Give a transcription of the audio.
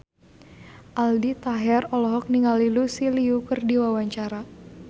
Aldi Taher olohok ningali Lucy Liu keur diwawancara